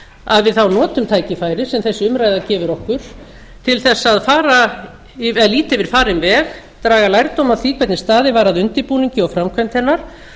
að við þá notum tækifærið sem þessi umræða gefur okkur til þess að líta yfir farinn alveg draga lærdóm af því hvernig staðið var að undirbúningi og framkvæmd hennar